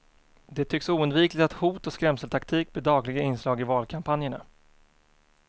Det tycks oundvikligt att hot och skrämseltaktik blir dagliga inslag i valkampanjerna.